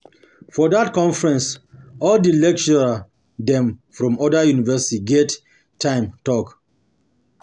For dat conference, all di lecturer dem from oda university get time talk.